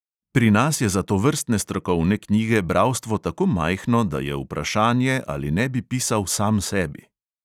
Pri nas je za tovrstne strokovne knjige bralstvo tako majhno, da je vprašanje, ali ne bi pisal sam sebi.